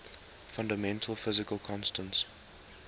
fundamental physical constants